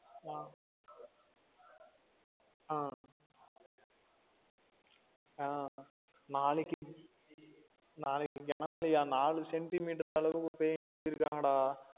ஆஹ் ஆஹ் அஹ் நாளைக்கு நாளைக்கு கன மலழயாம் நாலு centimeter அளவுக்கு பெய்யும்னு சொல்லிருக்காங்க டா